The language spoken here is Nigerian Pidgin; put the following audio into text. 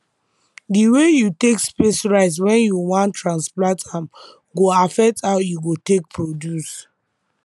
the way you take space rice when you wan transplant am go affect how e go take produce